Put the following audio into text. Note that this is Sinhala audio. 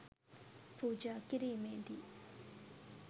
පූජා කිරීමේදී